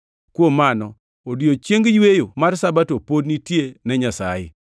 Kuom mano, odiechieng yweyo mar Sabato pod nitie ne jo-Nyasaye;